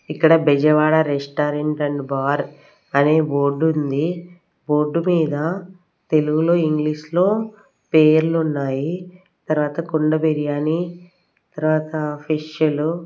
ఇక్కడ Bezawada restaurant and bar అనే board ఉంది బోర్డు మీద తెలుగులో ఇంగ్లీష్ లో పేర్లు ఉన్నాయి తర్వాత కుండ బిర్యానీ తర్వాత ఫిషులు .